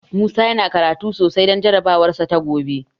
Musa yana karatu sosai don jarabawarsa ta gobe.